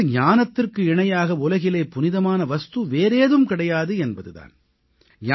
அதாவது ஞானத்திற்கு இணையாக உலகிலே புனிதமான வஸ்து வேறேதும் கிடையாது என்பது தான்